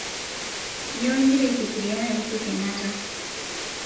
nyoo igira aifikiria naiusu kenyatta